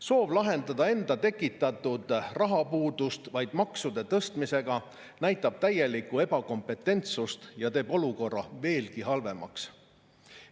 Soov lahendada enda tekitatud rahapuudust vaid maksude tõstmisega näitab täielikku ebakompetentsust ja teeb olukorra veelgi halvemaks.